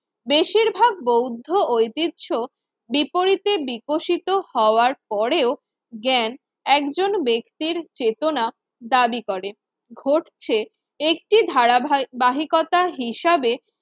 বেশিরভাগ বৌদ্ধ ঐতিহ্য বিপরীতে বিকশিত হওয়ার পরেও জ্ঞান একজন ব্যক্তির চেতনা দাবি করে। ঘটছে একটি ধারাভায়ি! বাহিকতার হিসাবে